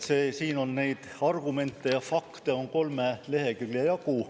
Siin on neid argumente ja fakte kolme lehekülje jagu.